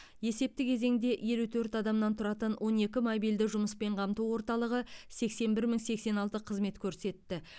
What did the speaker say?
есепті кезеңде елу төрт адамнан тұратын он екі мобильді жұмыспен қамту орталығы сексен бір мың сексен алты қызмет көрсетті